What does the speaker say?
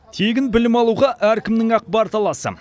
тегін білім алуға әркімнің ақ бар таласы